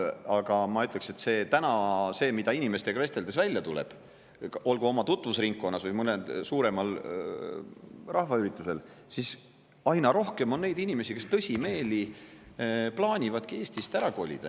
Aga ma ütleksin veel, et inimestega vesteldes on välja tulnud, olgu oma tutvusringkonnas või mõnel suuremal rahvaüritusel, et aina rohkem on neid inimesi, kes tõsimeeli plaanivadki Eestist ära kolida.